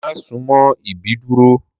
Mà súmọ̀ ìbídùró!